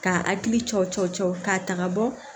K'a hakili cɔcɔ cɔ k'a ta ka bɔ